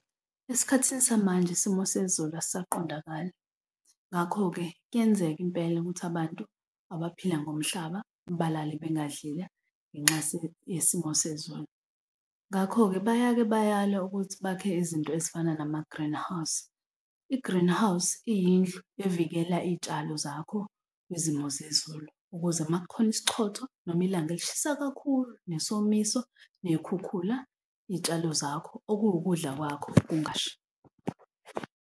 Esikhathini samanje isimo sezulu asisaqondakali, ngakho-ke kuyenzeka impela ukuthi abantu abaphila ngomhlaba balale bengadlile ngenxa yesimo sezulu. Ngakho-ke bayake bayalwe ukuthi bakhe izinto ezifana nama-greenhouse. I-greehouse, iyindlu evikela iy'tshalo zakho kwizimo zezulu ukuze uma kukhona isichotho noma ilanga elishisa kakhulu, nesomiso ney'khukhula, iy'tshalo zakho okuwukudla kwakho, kungashi.